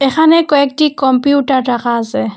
এখানে কয়েকটি কম্পিউটার রাখা আসে।